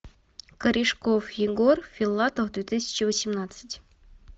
корешков егор филатов две тысячи восемнадцать